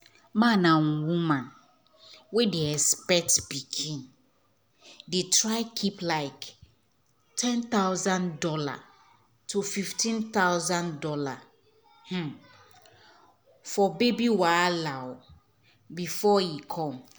man and woman wey dey expect pikin dey try keep like one thousand dollars0 tofifteen thousand dollarsfor baby wahala before e come.